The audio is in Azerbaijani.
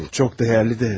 Çox dəyərli də.